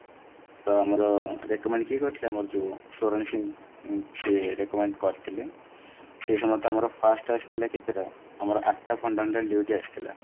ତ ଆମର recommended କିଏ କରିଥିଲା ଆମର ଯୋଉ ସ୍ବରଣ ସିଂ ଯିଏ recommend କରିଥିଲେ ସେ ସମସାୟରେ ତ ଆମର first ଆସିଥିଲା କେତେଟା ଆମର ଆଠଟା fundamental duties ଆସିଥିଲା